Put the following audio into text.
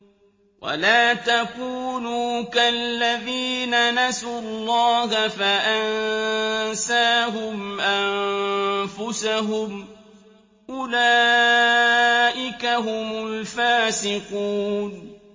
وَلَا تَكُونُوا كَالَّذِينَ نَسُوا اللَّهَ فَأَنسَاهُمْ أَنفُسَهُمْ ۚ أُولَٰئِكَ هُمُ الْفَاسِقُونَ